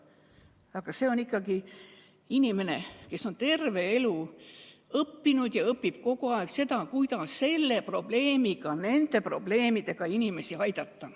Psühhiaater on ikkagi inimene, kes on terve elu õppinud ja õpib kogu aeg juurde, kuidas niisuguste probleemidega inimesi aidata.